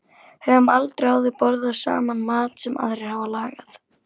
Höfum aldrei áður borðað saman mat sem aðrir hafa lagað.